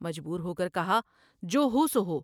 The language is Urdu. مجبور ہو کر کہا '' جو ہوسو ہو ۔